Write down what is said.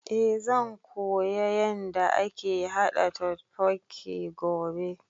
Eh zan koya yanda ake haɗa totbokki gobe